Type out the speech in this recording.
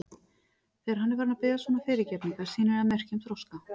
Þegar hann er farinn að biðjast svona fyrirgefningar sýnir það merki um þroska.